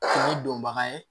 Ni donbaga ye